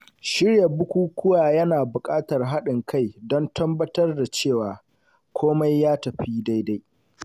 Shirya bukukuwa yana buƙatar haɗin kai don tabbatar da cewa komai ya tafi daidai.